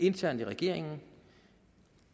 internt i regeringen